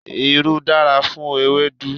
Irú dára fún ewédú.